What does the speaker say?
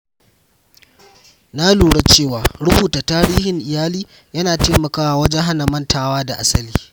Na lura cewa rubuta tarihin iyali yana taimakawa wajen hana mantuwa da asali.